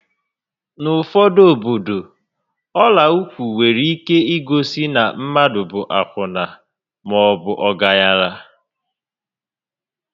N'ufodu obodo, ọla ụkwụ nwere ike igosi na mmadụ bụ akwụna maọbu ọgaranya